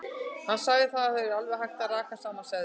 Hann sagði að það yrði alveg hægt að raka saman seðlum.